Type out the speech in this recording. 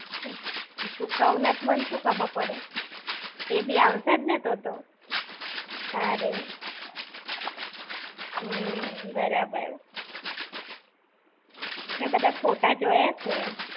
તું ક્વ ના તો મન શું ખબર પડે. એ બી આવશે જ ને તો તો. તારે! હમ્મ. બરાબર. મેં બધા ફોટા જોયા છે!